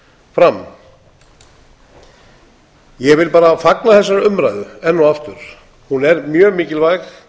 fram ég vil bara fagna þessari umræðu enn og aftur hún er mjög mikilvæg